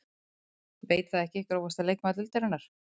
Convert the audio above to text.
Veit það ekki Grófasti leikmaður deildarinnar?